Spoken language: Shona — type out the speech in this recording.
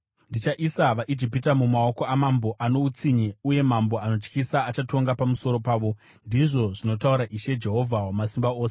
Ndichaisa vaIjipita mumaoko amambo ano utsinye uye mambo anotyisa achatonga pamusoro pavo,” ndizvo zvinotaura Ishe, Jehovha Wamasimba Ose.